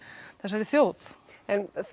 þessari þjóð en